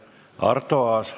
Arto Aas.